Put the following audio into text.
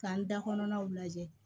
K'an da kɔnɔnaw lajɛ